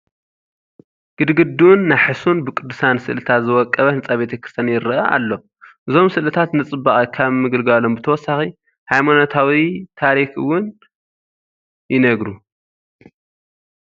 ግድግድኡን ናሕሱን ብቅዱሳን ስእልታት ዝወቀበ ህንፃ ቤተ ክርስቲያን ይርአ ኣሎ፡፡ እዞም ስእልታት ንፅባቐ ካብ ምግልጋሎም ብተወሳኺ ሃይማኖታዊ ታሪክ እውን ይነግ እውን ይነግሩ፡፡